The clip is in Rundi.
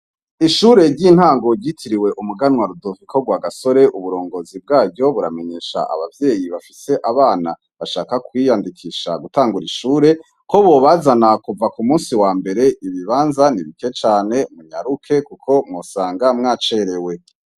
Ishure ry' intango ryitiriwe Umuganwa Rudoviko Rwagasore, uburongozi buramenyesha abavyeyi bafise abana bashaka kwiyandikisha gutangura ishure, ko bobazana kuva ku munsi wambere ibibanza ni bike cane. Munyaruke kuko mwosanga mwacerewe.